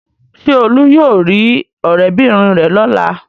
Ṣé Olú yóò rí ọ̀rẹ́bìnrin rẹ̀ lọ́la?